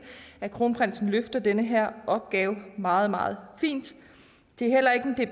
at kronprinsen løfter den her opgave meget meget fint